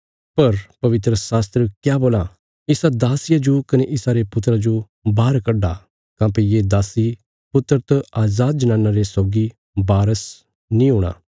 पर पवित्रशास्त्र क्या बोलां इसा दासिया जो कने इसारे पुत्रा जो बाहर कड्डा काँह्भई ये दासी पुत्र त अजाद जनाना रे सौगी वारस नीं हूणा